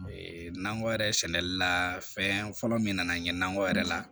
nakɔ yɛrɛ sɛnɛli la fɛn fɔlɔ min nana ye nakɔ yɛrɛ la